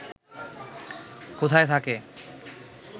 কোথায় থাকে